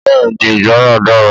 Bẹ́ẹ̀ni ìgbọràn dara.